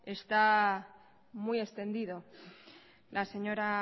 está muy extendido la señora